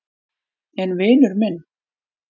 En vinur minn.